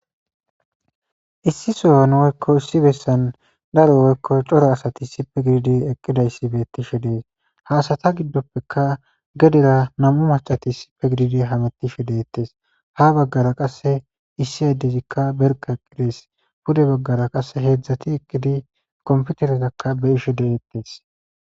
issi son woykko issi bessan daro woykko coro asati issippe gididi eqqidayssi betishe dees haasata giddoppeka gedera nam7u macati sipe gididi hametishe deettes ha baggara qase issi adezikka berka eqqidees pude baggara qasse heedzdzati ekidi komputeretakka be7 isho de7ettes.